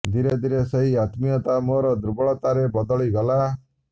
ଧିରେ ଧିରେ ସେଇ ଆତ୍ମିୟତା ମୋର ଦୁର୍ବଳତାରେ ବଦଳି ଗଲା